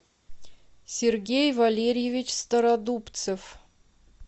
сергей валерьевич стародубцев